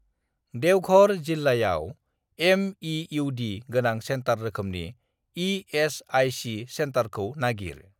देवघर जिल्लायाव एम.इ.इउ.डी. गोनां सेन्टार रोखोमजों इ.एस.आइ.सि. सेन्टारखौ नागिर।